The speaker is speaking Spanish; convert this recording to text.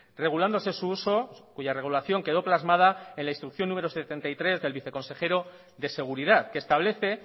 regulándose su uso cuya regulación quedó plasmada en la instrucción número setenta y tres del viceconsejero de seguridad que establece